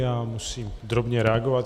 Já musím drobně reagovat.